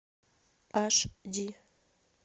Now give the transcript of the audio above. аш ди